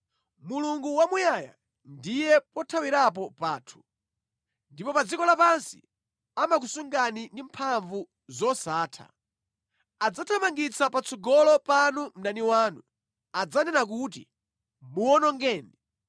Mulungu wamuyaya ndiye pothawirapo pathu, ndipo pa dziko lapansi amakusungani ndi mphamvu zosatha. Adzathamangitsa patsogolo panu mdani wanu, adzanena kuti, ‘Muwonongeni!’